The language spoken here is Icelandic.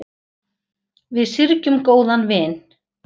Við syrgjum góðan vin.